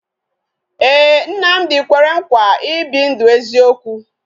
Ee, Nnamdi kwere nkwa ibi ndụ eziokwu